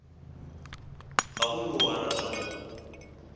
ga go yo a ratago